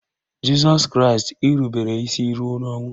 Jịsọs Kraịst irubere isi ruo n'ọnwụ